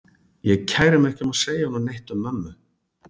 Ég kæri mig ekki um að segja honum neitt um mömmu.